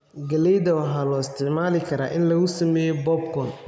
Galleyda waxaa loo isticmaali karaa in lagu sameeyo popcorn.